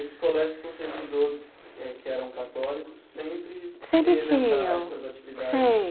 Esses colégios que você estudou, eh que eram católicos, sempre sempre tinham tinham essas atividades?